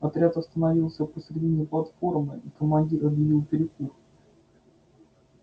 отряд остановился посередине платформы и командир объявил перекур